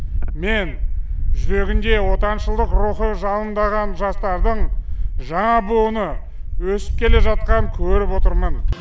мен жүрегінде отаншылдық рухы жалындаған жастардың жаңа буыны өсіп келе жатқанын көріп отырмын